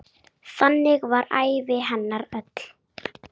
Flestir vita betur.